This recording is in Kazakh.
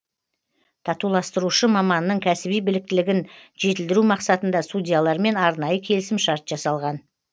татуластырушы маманның кәсіби біліктілігін жетілдіру мақсатында судьялармен арнайы келісімшарт жасалған